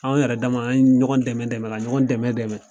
Anw yɛrɛ dama , an ye ɲɔgɔn dɛmɛ dɛmɛ ka ɲɔgɔn dɛmɛ dɛmɛ